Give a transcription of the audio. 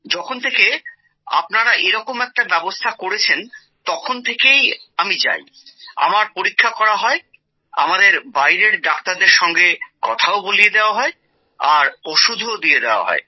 যখন থেকে আপনার দ্বারা এই ব্যবস্থা করা হয়েছে তখন থেকে আমি যাই আমার পরীক্ষা করা হয় আমাদের বাইরের ডাক্তারদের সঙ্গে কথাও বলিয়ে দেওয়া হয় আর ওষুধও দিয়ে দেওয়া হয়